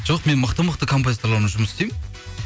жоқ мықты мықты композиторлармен жұмыс істеймін